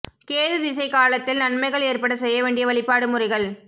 கேது திசை காலத்தில் நன்மைகள் ஏற்பட செய்ய வேண்டிய வழிபாடு முறைகள்